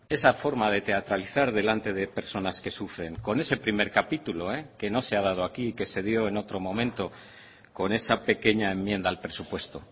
esa forma de teatralizar delante de personas que sufren con ese primer capítulo que no se ha dado aquí que se dio en otro momento con esa pequeña enmienda al presupuesto